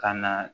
Ka na